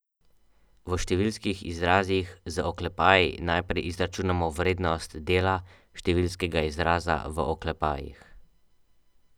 V številskih izrazih z oklepaji najprej izračunamo vrednost dela številskega izraza v oklepajih.